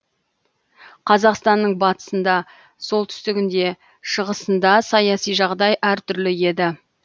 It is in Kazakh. қазақстанның батысында солтүстігінде шығысында саяси жағдай әр түрлі еді